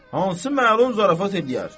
Hansı məlum zarafat eləyər?